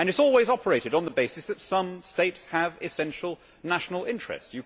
It has always operated on the basis that some states have essential national interests.